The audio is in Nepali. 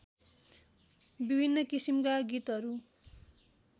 विभिन्न किसिमका गीतहरू